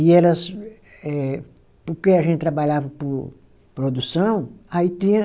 E elas, eh, porque a gente trabalhava por produção, aí tinha